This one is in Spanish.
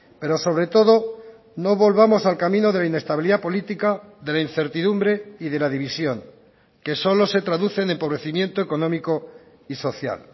pero sobre todo no volvamos al camino de la inestabilidad política de la incertidumbre y de la división que solo se traducen empobrecimiento económico y social